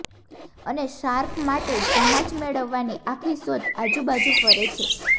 અને શાર્ક માટે જહાજ મેળવવાની આખી શોધ આજુબાજુ ફરે છે